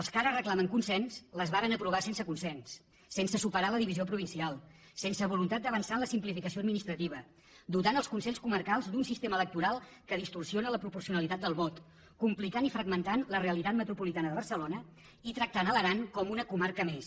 els que ara reclamen consens les varen aprovar sense consens sense superar la divisió provincial sense voluntat d’avançar en la simplificació administrativa dotant els consells comarcals d’un sistema electoral que distorsiona la proporcionalitat del vot complicant i fragmentant la realitat metropolitana de barcelona i tractant l’aran com una comarca més